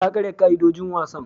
Ta karya ka'idojin wasan.